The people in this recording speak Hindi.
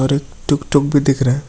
और एक टुकटुक भी दिख रहा है।